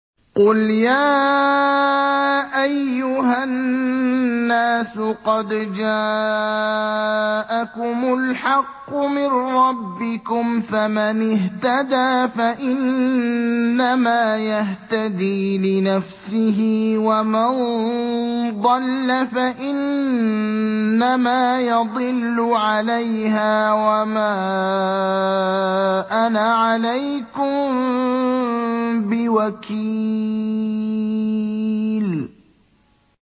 قُلْ يَا أَيُّهَا النَّاسُ قَدْ جَاءَكُمُ الْحَقُّ مِن رَّبِّكُمْ ۖ فَمَنِ اهْتَدَىٰ فَإِنَّمَا يَهْتَدِي لِنَفْسِهِ ۖ وَمَن ضَلَّ فَإِنَّمَا يَضِلُّ عَلَيْهَا ۖ وَمَا أَنَا عَلَيْكُم بِوَكِيلٍ